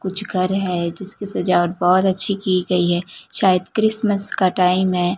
कुछ घर है जिसकी सजावट बहोत अच्छी की गई है शायद क्रिसमस का टाइम है।